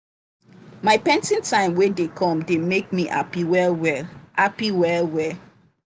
my painting time wey dey come dey make me happy well well. happy well well.